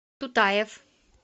тутаев